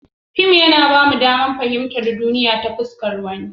Fim yana ba mu damar fahimtar duniya ta fuskar wani.